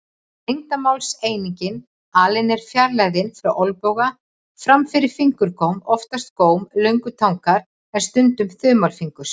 Lengdarmálseiningin alin er fjarlægðin frá olnboga fram fyrir fingurgóm, oftast góm löngutangar en stundum þumalfingurs.